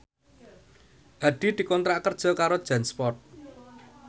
Hadi dikontrak kerja karo Jansport